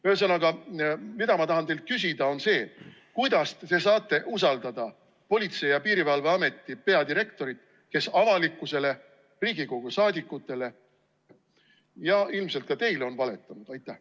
Ühesõnaga, mida ma tahan teilt küsida, on see: kuidas te saate usaldada Politsei‑ ja Piirivalveameti peadirektorit, kes avalikkusele, Riigikogu liikmetele ja ilmselt ka teile on valetanud?